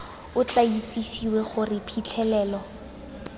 o tla itsisiwe gore phitlhelelo